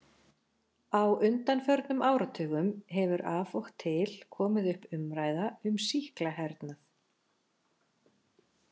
Á undanförnum áratugum hefur af og til komið upp umræða um sýklahernað.